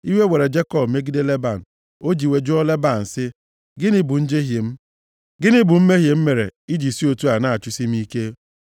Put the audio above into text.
Iwe were Jekọb megide Leban. O ji iwe jụọ Leban sị, “Gịnị bụ njehie m? Gịnị bụ mmehie m mere i ji si otu a na-achụsi m ike?